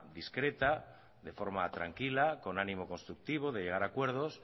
discreta de forma tranquila con ánimo constructivo de llegar a acuerdos